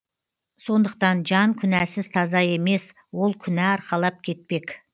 сондықтан жан күнәсіз таза емес ол күнә арқалап кетпек